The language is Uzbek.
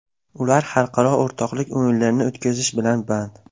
Ular xalqaro o‘rtoqlik o‘yinlarini o‘tkazish bilan band.